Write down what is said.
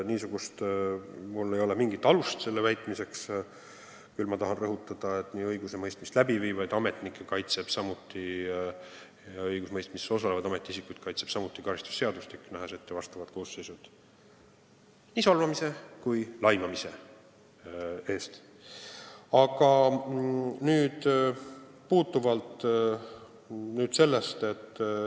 Mul ei ole mingit alust sellele praegu viidata, aga ma tahan siiski rõhutada, et ka õigusemõistmist läbiviivaid ametnikke ja õigusemõistmises osalevaid ametiisikuid kaitseb karistusseadustik, nähes ette sanktsioonid nii solvamise kui ka laimamise eest.